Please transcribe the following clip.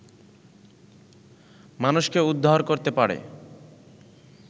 মানুষকে উদ্ধার করতে পারে